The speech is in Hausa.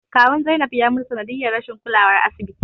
Kawun Zainab ya mutu sanadiyar rashin kulawar asibiti